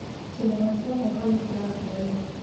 Kĩmera kĩa heho nĩkĩrathira rĩu